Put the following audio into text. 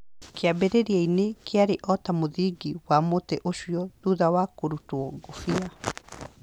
Kĩambĩrĩria-inĩ kĩarĩ o ta mũthingi wa mũtĩ ũcio thutha wa kũrutwo ngũbia.